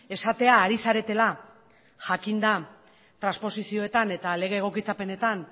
esatea ari zaretela jakinda transposizioetan eta lege egokitzapenetan